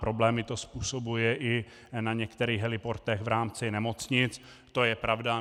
Problémy to způsobuje i na některých heliportech v rámci nemocnic, to je pravda.